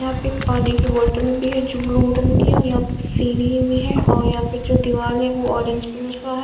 यहाँ पे एक पानी की बोटल भी है जो ब्लू रंग की है और यहाँ पे सीढ़ी भी है और यहाँ पे जो दीवाल है वो ऑरेंज कलर का है।